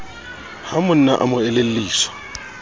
ha monna a mo elelliswa